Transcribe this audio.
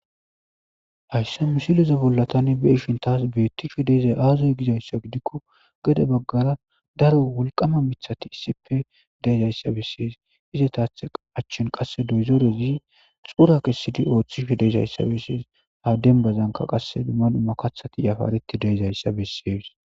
hayssa misileze bollatani be ishin taas beettisho deezay aazoy gizayssa gidikko gade baggara daro wolqama mithati issipe deezayssa bessees ize taathe achchin qasse doyzorezi xura kessidi ooththiho deezayssa bessees ha dembazanka qasse manu makathati yafaareti deezayssa bessees